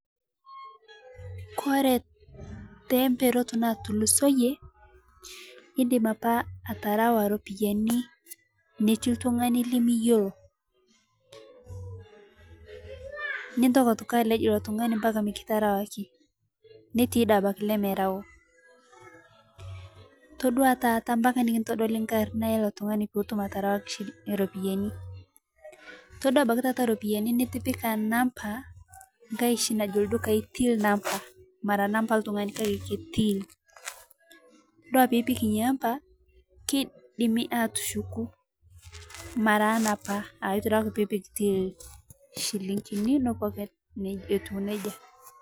Kore temperot natulusoiye indim apa atarawaa ropiyani netii ltung'ani linoo liyoloo nintoki atoki alej iloo tung'ani mpaka mikitarawakii netii dei abaki lemerau itodua taata mpaka nikintodolii nkarnaa eloo tung'anii pitum atarawakii shi ropiyani itodua abakii taata ropiyani nitipikaa nampaa ng'hai shi najoo ldukai till number mara nampaa eltung'ani kakee ake till dua piipik inia ampaa keidimi atushuku mara anapa aaitodua ake piipik till shiling'inii nepuo ake etuu neja.